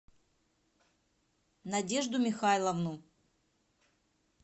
надежду михайловну